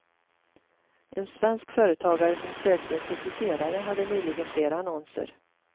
En svensk företagare som sökte en sekreterare hade nyligen flera annonser.